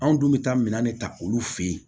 Anw dun bɛ taa minɛn de ta olu fɛ yen